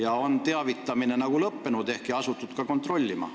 Ehk on teavitamine lõppenud ja on asutud ka neid kontrollima.